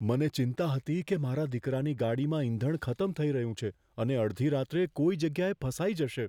મને ચિંતા હતી કે મારા દીકરાની ગાડીમાં ઈંધણ ખતમ થઈ રહ્યું છે અને અડધી રાત્રે કોઈ જગ્યાએ ફસાઈ જશે.